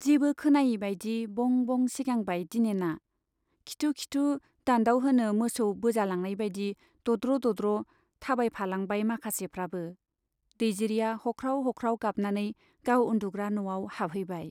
जेबो खोनायैबाइदि बं बं सिगांबाय दिनेना, खिथु खिथु दान्दाव होनो मोसौ बोजालांनायबाइदि दद्र' दद्र' थाबायलांफाबाय माखासेफ्राबो। दैजिरिया हख्राव हख्राव गाबनानै गाव उन्दुग्रा न'आव हाबहैबाय